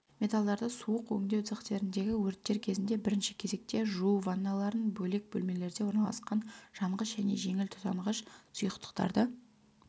металлдарды суық өңдеу цехтеріндегі өрттер кезінде бірінші кезекте жуу ванналарын бөлек бөлмелерде орналасқан жанғыш және жеңіл тұтанғыш сұйықтықтарды